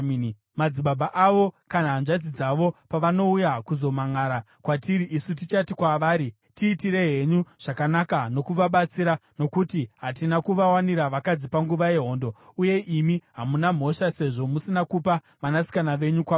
Madzibaba avo kana hanzvadzi dzavo pavanouya kuzomhanʼara kwatiri, isu tichati kwavari, ‘Tiitirei henyu zvakanaka nokuvabatsira, nokuti hatina kuvawanira vakadzi panguva yehondo, uye imi hamuna mhosva, sezvo musina kupa vanasikana venyu kwavari.’ ”